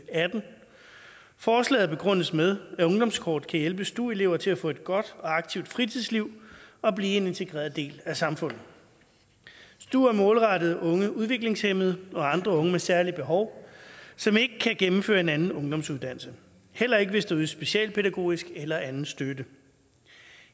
og atten forslaget begrundes med at ungdomskortet kan hjælpe stu elever til at få et godt og aktivt fritidsliv og blive en integreret del af samfundet stu er målrettet unge udviklingshæmmede og andre unge med særlige behov som ikke kan gennemføre en anden ungdomsuddannelse heller ikke hvis der ydes specialpædagogisk eller anden støtte